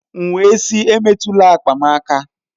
M wee sị emetụla akpa m aka!